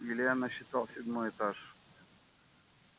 илья насчитал седьмой этаж